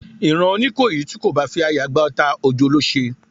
Ìran oníkòyí ti ko bá fi àyà gba ọta, ojo ló se